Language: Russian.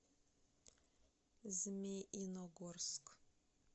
змеиногорск